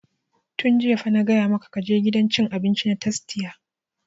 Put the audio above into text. Tun jiya fa na gaya maka ka je gidan cin abinci na tastia!